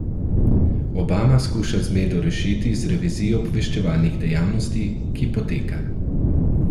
Obama skuša zmedo rešiti z revizijo obveščevalnih dejavnosti, ki poteka.